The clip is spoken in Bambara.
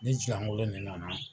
Ne kolon ne nana.